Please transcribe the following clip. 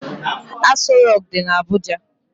Aso Rock dị na Abuja.